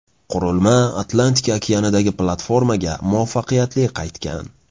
Qurilma Atlantika okeanidagi platformaga muvaffaqiyatli qaytgan.